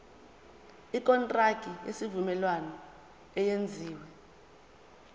ikontraki yesivumelwano eyenziwe